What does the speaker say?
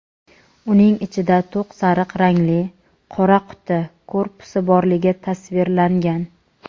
uning ichida to‘q sariq rangli "qora quti" korpusi borligi tasvirlangan.